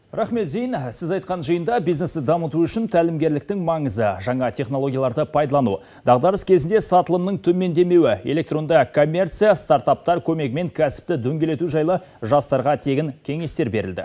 рахмет зейн сіз айтқан жиында бизнесті дамыту үшін тәлімгерліктің маңызы жаңа технологияларды пайдалану дағдарыс кезінде сатылымның төмендемеуі электронды коммерция стартаптар көмегімен кәсіпті дөңгелету жайлы жастарға тегін кеңестер берілді